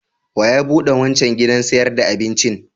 Wa ya buɗe wancan gidan sayar da abincin?